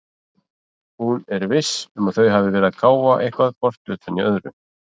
Hún er VISS um að þau hafa verið að káfa eitthvað hvort utan í öðru.